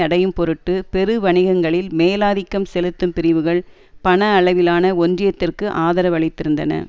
அடையும் பொருட்டு பெரு வணிகங்களில் மேலாதிக்கம் செலுத்தும் பிரிவுகள் பண அளவிலான ஒன்றியத்திற்கு ஆதரவளித்திருந்தன